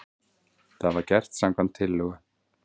Þetta var gert samkvæmt tillögu